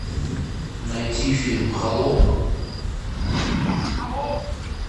найти фильм холоп